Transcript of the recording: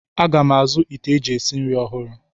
Aga m azụ ite eji esi nri ọhụrụ.